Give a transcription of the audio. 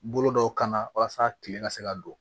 Bolo dɔw kan walasa kile ka se ka don